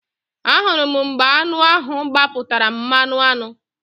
Ahụrụ m mgbe aṅụ ahụ gbapụtara mmanụaṅụ